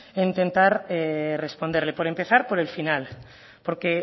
en intentar responderle por empezar por el final porque